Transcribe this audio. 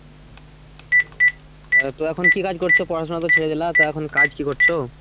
উম তো এখন কি কাজ করছো পড়াশুনা তো ছেড়ে দিলা। তা এখন কাজ কি করছো?